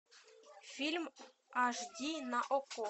фильм аш ди на окко